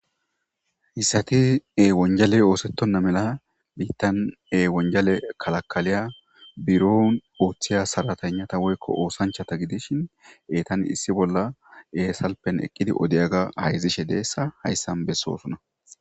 Hissa tiewonjale oosettonna mela biittan e wonjale kalakaliya buro ooththiya saratannata woykko oosanchata gidishin eetan issi bolla esalpen eqqidi odeyaga hayzishe deessa hayssan bessoosuna